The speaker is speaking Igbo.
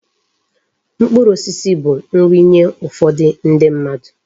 Mkpụrụ osisi bụ nri nye ụfọdụ ndi mmadụ.